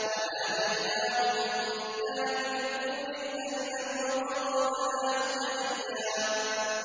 وَنَادَيْنَاهُ مِن جَانِبِ الطُّورِ الْأَيْمَنِ وَقَرَّبْنَاهُ نَجِيًّا